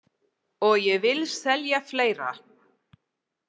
Og ég vil selja fleira.